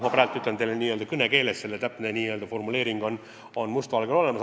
Ma kasutasin praegu kõnekeelt, täpne formuleering on must valgel ka olemas.